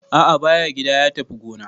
A'a ba ya gida, ya tafi gona.